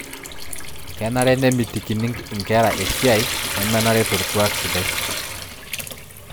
Kenare nemitikitini inkera esiai nemenare torkuak sidai